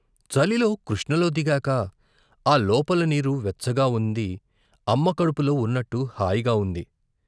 చలిలో కృష్ణలో దిగాక ఆ లోపల నీరు వెచ్చగా ఉంది అమ్మ కడుపులో ఉన్నట్టు హాయిగా వుంది.